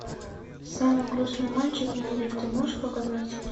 самый грустный мальчик в мире ты можешь показать